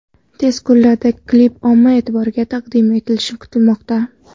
Tez kunlarda klip omma e’tiboriga taqdim etilishi kutilmoqda.